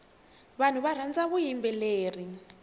vanhu varhandza vuyimbeleri